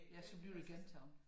Ja så bliver det gentaget